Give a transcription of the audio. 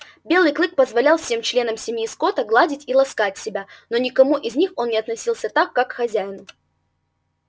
белый клык позволял всем членам семьи скотта гладить и ласкать себя но ни к кому из них он не относился так как к хозяину